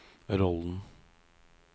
rollen